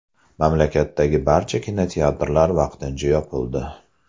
Mamlakatdagi barcha kinoteatrlar vaqtincha yopildi .